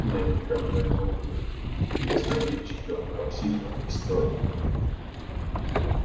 я никогда не лгу если речь идёт о психо истории